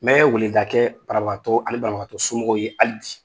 Mɛ weleda kɛ banabagatɔw ani banabagatɔsomɔgɔw ye hali bi.